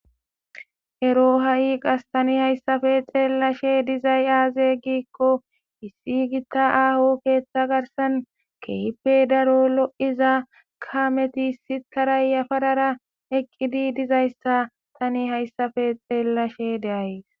ero ha7i qas tani hayssafe xeellashe dizay aaze giikko issi giitta aaho keeththa garsan kehipe daro lo7iza kameti si tarayyafadara eqqidi dizayssa tani hayssafe xeellashe deays